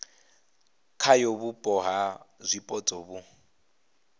khayo vhupo ha zwipotso vhu